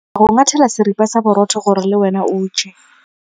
Ke tla go ngathela seripa sa borotho gore le wena o je.